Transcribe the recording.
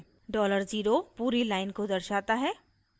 $0 पूरी line को दर्शाता है